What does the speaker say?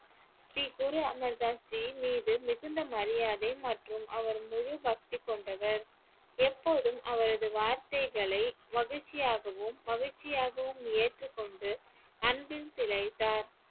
ஸ்ரீ குரு அமர்தாஸ் ஜி மீது மிகுந்த மரியாதை மற்றும் அவர் முழு பக்தி கொண்டவர் எப்போதும் அவரது வார்த்தைகளை மகிழ்ச்சியாகவும் மகிழ்ச்சியாகவும் ஏற்றுக் கொண்டு அன்பில் திளைத்தார்